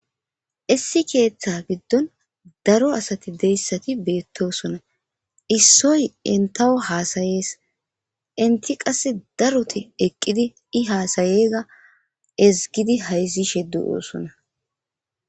issi keeththa giddon daro asati deyssati beettosona issoy entawo haasayees inti qass daroti eqqidi i haasayiyaga ezgidi hayzishe de'osona.